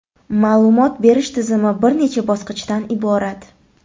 Ma’lumot berish tizimi bir necha bosqichdan iborat.